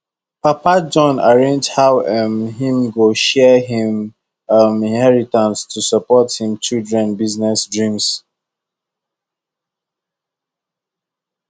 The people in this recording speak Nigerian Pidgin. papa john arrange how um him go share him um inheritance to support him children business dreams